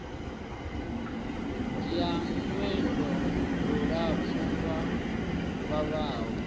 ya lwendo lulapfu lu vhavhaho